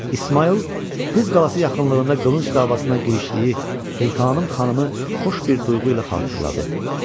İsmayıl qız qalası yaxınlığında qılınc davasına girişdiyi Sultanım xanımı xoş bir duyğu ilə xatırladı.